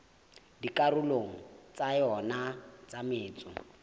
dikarolong tsa yona tsa metso